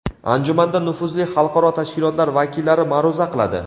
Anjumanda nufuzli xalqaro tashkilotlar vakillari ma’ruza qiladi.